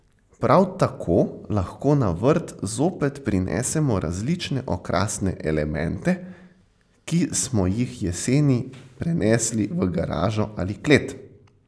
Prav tako lahko na vrt zopet prinesemo različne okrasne elemente, ki smo jih jeseni prenesli v garažo ali klet.